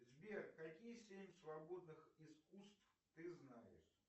сбер какие семь свободных искусств ты знаешь